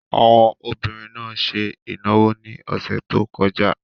Àwọn obìnrin náà ṣe ìnáwó ní ọ̀sẹ̀ tó kọjá.